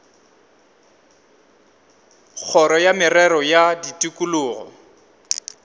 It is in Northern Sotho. kgoro ya merero ya tikologo